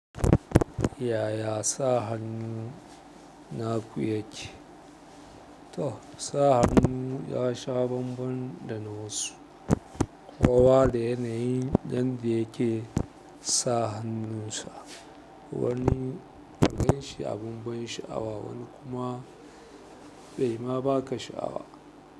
Yaya sa hannun naku yake? To, sa hannun ya sha bambam da na wasu. Kowa da yanayin yanda yake sa hannunsa. Wani ka ganshi abun ban sha'awa, wani kuma bai ma baka sha'awa.